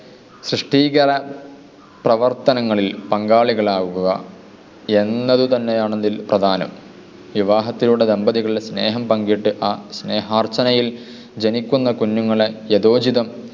സൃഷ്‌ടീകത പ്രവർത്തനങ്ങളിൽ പങ്കാളികളാവുക എന്നതു തന്നെയാണതിൽ പ്രധാനം. വിവാഹത്തിലൂടെ ദമ്പതികൾ സ്നേഹം പങ്കിട്ട് ആ സ്നേഹാർച്ചനയിൽ ജനിക്കുന്ന കുഞ്ഞുങ്ങളെ യഥോചിതം